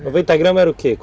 noventa gramas era o quê?